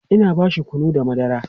Ina bashi kunu da madara